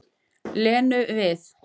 Lenu við.